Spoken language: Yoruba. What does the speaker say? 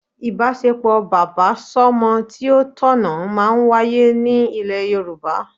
Ìbáṣepọ̀ bàbá sọmọ tí ó tọ̀nà máa ń wáyé ní ilẹ̀ Yorùbá